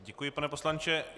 Děkuji, pane poslanče.